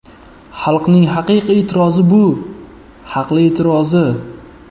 Xalqning haqiqiy e’tirozi bu, haqli e’tirozi.